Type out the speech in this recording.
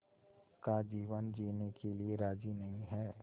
का जीवन जीने के लिए राज़ी नहीं हैं